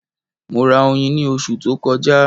Mo ra oyin ní oṣù tó kọjá.